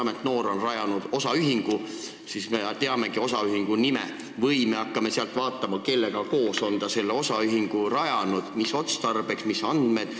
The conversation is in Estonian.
Kui noor on rajanud osaühingu, siis kas me saamegi teada selle nime või me hakkame vaatama ka muid andmeid: kellega koos on ta osaühingu rajanud ja mis otstarbel?